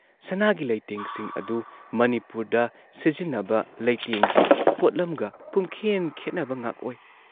ꯁꯅꯥꯒꯤ ꯂꯩꯇꯦꯡꯁꯤꯡ ꯑꯗꯨ ꯃꯅꯤꯄꯨꯔꯗ ꯁꯤꯖꯤꯟꯅꯕ ꯂꯩꯇꯦꯡꯒꯤ ꯄꯣꯠꯂꯝꯒ ꯄꯨꯝꯈꯦꯟ ꯈꯦꯟꯅꯕ ꯉꯥꯛ ꯑꯣꯏ ꯫